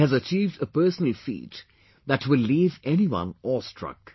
He has achieved a personal feat that will leave anyone awestruck